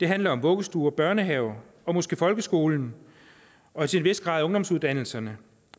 handler om vuggestuer børnehaver og måske folkeskolen og til en vis grad ungdomsuddannelserne